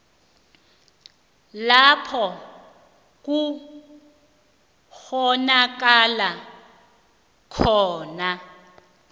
lapho kukghonakala khona